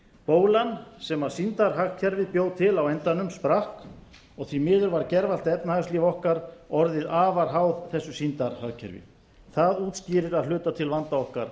bólan sem sýndarhagkerfið bjó til á endanum sprakk og því miður var gervallt efnahagslíf okkar orðið afar háð þessu sýndarhagkerfi það útskýrir að hluta til vanda okkar